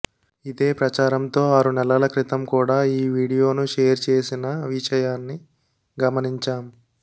ఇదే ప్రచారంతో ఆరు నెలల క్రితం కూడా ఈ వీడియోను షేర్ చేసిన విషయాన్ని గమనించాం